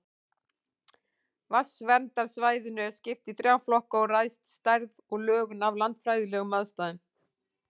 Vatnsverndarsvæðinu er skipt í þrjá flokka og ræðst stærð og lögun af landfræðilegum aðstæðum.